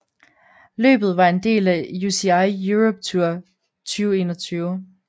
Løbet var en del af UCI Europe Tour 2021